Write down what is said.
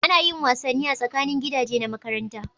A na yin wasanni tsakanin gidaje na makaranta